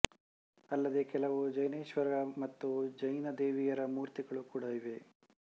ಅಲ್ಲದೆ ಕೆಲವು ಜಿನೇಶ್ವರರ ಮತ್ತು ಜಿನ ದೇವಿಯರ ಮೂರ್ತಿಗಳು ಕೂಡಾ ಇವೆ